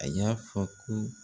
A y'a fɔ ko